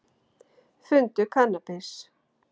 Fundu kannabis